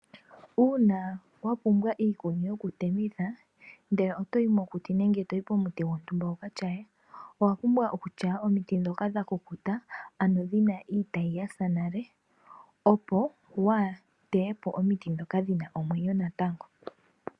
Uuna wapumbwa iikuni yokutemitha, ndele otoyi mokuti nenge pomuti gwontumba wuka tyaye, owa pumbwa okutyaya omiti ndhoka dha kukuta, ano dhina iitayi yasa nale, opo waateye po omiti ndhoka dhina omwenyo natango.